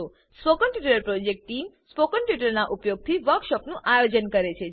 spoken tutorial project team spoken ટ્યુટોરીયલોનાં ઉપયોગથી વર્કશોપોનું આયોજન કરે છે